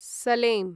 सलें